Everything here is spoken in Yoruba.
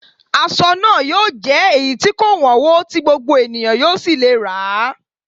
Aṣọ náà yóò jẹ́ èyí tí kò wọ́nwó, tí gbogbo ènìyàn yóò sì lè rà á